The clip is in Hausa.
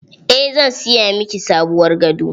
Eh zan siya miki sabuwar gado.